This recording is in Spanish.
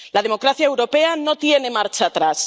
La democracia europea no tiene marcha atrás.